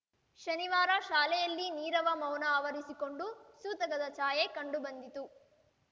ಶನಿವರ ಶಾಲೆಯಲ್ಲಿ ನೀರವ ಮೌನ ಆವರಿಸಿಕೊಂಡು ಸೂತಕದ ಛಾಯೆ ಕಂಡು ಬಂದಿತು